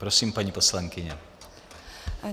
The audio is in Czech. Prosím, paní poslankyně.